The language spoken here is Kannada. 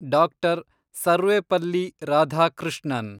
ಡಾಕ್ಟರ್. ಸರ್ವೆಪಲ್ಲಿ ರಾಧಾಕೃಷ್ಣನ್